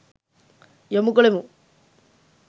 යොමු කළෙමු.